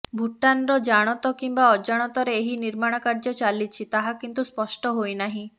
ଭୁଟାନର ଜାଣତ କିମ୍ବା ଅଜାଣତରେ ଏହି ନିର୍ମାଣ କାର୍ଯ୍ୟ ଚାଲିଛି ତାହା କିନ୍ତୁ ସ୍ପଷ୍ଟ ହୋଇ ନାହିଁ